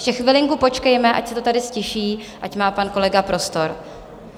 Ještě chvilinku počkejme, ať se to tady ztiší, ať má pan kolega prostor.